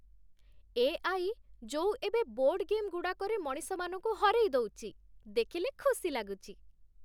AI. ଯୋଉ ଏବେ board ଗେମ୍‌ଗୁଡ଼ାକରେ ମଣିଷମାନଙ୍କୁ ହରେଇ ଦଉଛି, ଦେଖିଲେ ଖୁସି ଲାଗୁଛି ।